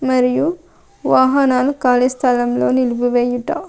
మరియు వాహనాలు కాళీ స్థలంలో నిల్పివేయుట.